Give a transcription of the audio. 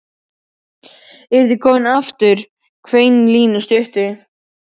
Eruð þið komin aftur? hvein í Línu stuttu.